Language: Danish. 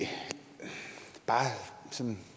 bare